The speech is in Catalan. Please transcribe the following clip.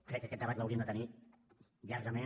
crec que aquest debat l’hauríem de tenir llargament